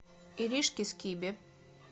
иришке скибе